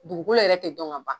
Dugukolo yɛrɛ tɛ dɔn ka ban.